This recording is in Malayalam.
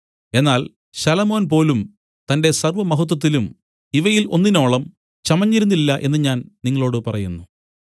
എന്നാൽ ശലോമോൻ പോലും തന്റെ സർവ്വമഹത്വത്തിലും ഇവയിൽ ഒന്നിനോളം ചമഞ്ഞിരുന്നില്ല എന്നു ഞാൻ നിങ്ങളോടു പറയുന്നു